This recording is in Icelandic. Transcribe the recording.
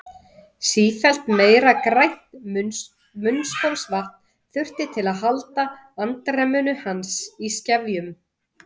Sífellt meira grænt munnskolvatn þurfti til að halda andremmu hans í skefjum.